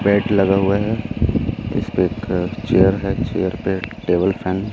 bed लगा हुआ है इसपे एक चेयर है चेयर पे टेबल फैन --